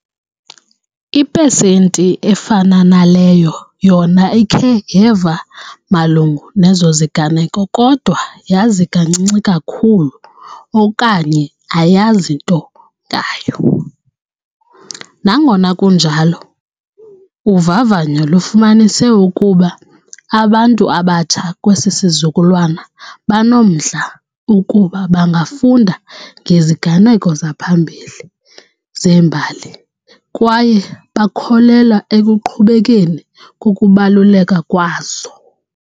Ipesenti efana naleyo yona ikhe yeva malunga nezo ziganeko kodwa yazi kancinci kakhulu okanye ayazi nto ngayo. Nangona kunjalo, uvavanyo lufumanise ukuba abantu abatsha kwesi sizukulwana banomdla ukuba bangafunda ngeziganeko ziphambili zembali kwaye bakholelwa ekuqhubekeni kokubaluleka kwazo.